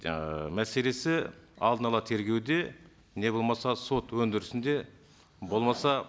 жаңағы мәселесі алдын ала тергеуде не болмаса сот өндірісінде болмаса